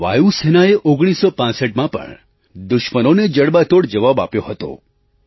વાયુ સેનાએ 1965માં પણ દુશ્મનોને જડબાતોડ જવાબ આપ્યો હતો